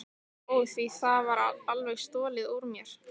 Ó, því var alveg stolið úr mér.